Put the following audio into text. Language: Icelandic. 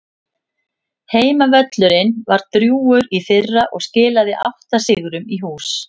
Heimavöllurinn var drjúgur í fyrra og skilaði átta sigrum í hús.